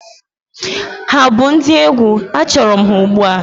Ha bụ ndị egwu, achọrọ m ha ugbu a!